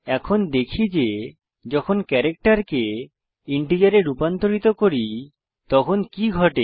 এখন দেখি যে যখন ক্যারাক্টের কে ইন্টিজার এ রূপান্তরিত করি তখন কি ঘটে